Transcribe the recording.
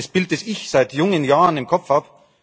Das ist das Bild, das ich seit jungen Jahren im Kopf habe.